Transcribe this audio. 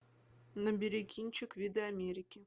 набери кинчик виды америки